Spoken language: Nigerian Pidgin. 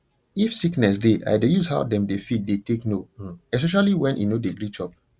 if sickness dey i dey use how dem dey feed dey take know um especially when e no dey gree chop